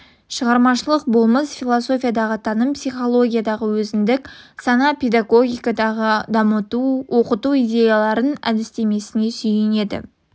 шығармашылық болмыс философиядағы таным психологиядағы өзіндік сана педагогикадағы дамыта оқыту идеяларының әдістемесіне сүйенеді